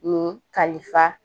Ni kalifa